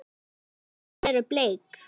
Blómin eru bleik.